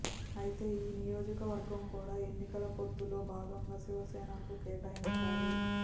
అయితే ఈ నియోజకవర్గం కూడా ఎన్నికల పొత్తులో భాగంగా శివసేనకు కేటాయించారు